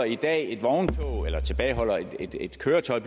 i dag tilbageholder et køretøj